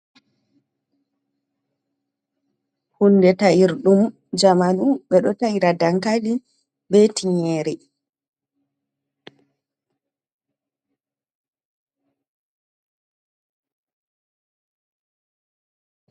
Hunde ta’irɗum jamanu ɓeɗo ta’ira dankali be tinyere.